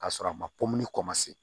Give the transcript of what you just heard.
K'a sɔrɔ a ma kɔmase